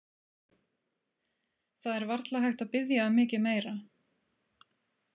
Það er varla hægt að biðja um mikið meira.